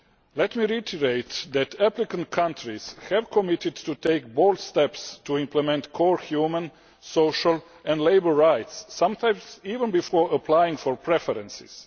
Let me reiterate that applicant countries have committed to taking bold steps to implement core human, social and labour rights, sometimes even before applying for preferences.